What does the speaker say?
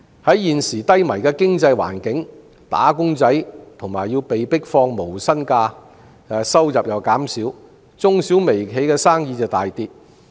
在現時低迷的經濟環境下，"打工仔"或要被迫放無薪假，收入減少，中、小和微型企業亦生意大跌。